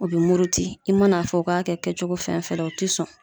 O be muruti. I ma na fɔ u ka kɛ cogo fɛn fɛn la, u te sɔn.